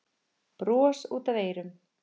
Bros út að eyrum.